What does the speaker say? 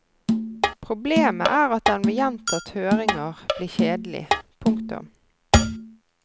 Problemet er at den ved gjentatt høringer blir kjedelig. punktum